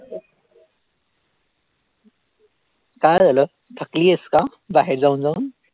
काय राहिलं थकलीस का बाहेर जाऊन जाऊन